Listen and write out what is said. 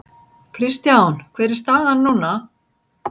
Kristján hver er staðan núna?